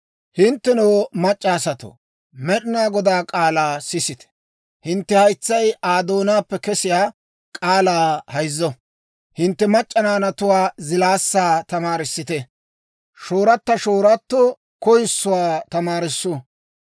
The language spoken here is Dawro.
Hinttenoo, mac'c'a asatoo, Med'inaa Godaa k'aalaa sisite! Hintte haytsay Aa doonaappe kesiyaa k'aalaa hayzzo. Hintte mac'c'a naanatuwaa zilaassaa tamaarissite; shoorata shoorato koyissuwaa tamaarissu.